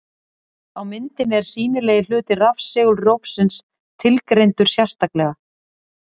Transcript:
Á myndinni er sýnilegi hluti rafsegulrófsins tilgreindur sérstaklega.